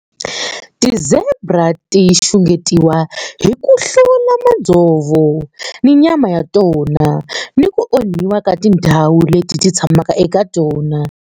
Ti-zebra ti xungetiwa hi ku hlota madzovo ni nyama ya tona, ni ku onhiwa ka tindhawu leti ti tshamaka eka tona.